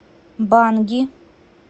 банги